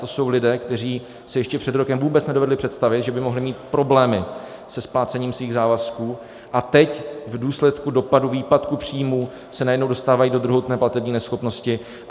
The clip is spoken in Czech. To jsou lidé, kteří si ještě před rokem vůbec nedovedli představit, že by mohli mít problémy se splácením svých závazků, a teď v důsledku dopadu výpadku příjmů se najednou dostávají do druhotné platební neschopnosti.